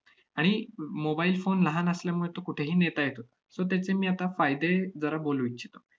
आणि म~ mobile phone लहान असल्यामुळे तो कुठेही नेता येतो. so त्याचे मी आता फायदे जरा बोलू इच्छितो.